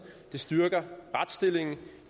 det styrker retsstillingen